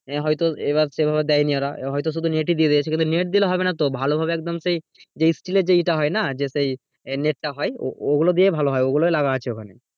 আহ হয়তো এইবার সেইভাবে দিইনি হয়তো শুধু net ই দিয়ে দিয়েছে net দিলে হবে না তো ভালো ভাবে একদম সেই যেই steel এ যেইটা হয়না যে সেই একটা হয় ও ও গুলো দিয়ে ভালো হয় ওগুলোই লাগানো আছে ওইখানে।